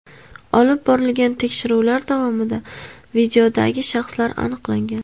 Olib borilgan tekshiruvlar davomida videodagi shaxslar aniqlangan.